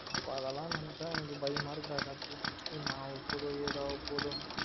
இப்ப அதலாம் நெனச்சா எனக்கு பயமா இருக்கு டா கார்த்தி என்ன அவா போதோ எது ஆவ போதோ